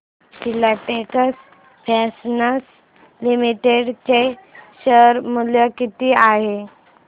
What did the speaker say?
Filatex fashions limited चे share मूल्य किती आहे